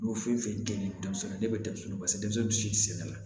N y'o fɛn fɛn kɛ nin denmisɛnnin ne bɛ denmisɛnninw basigi denmisɛnw si tɛ sɛnɛ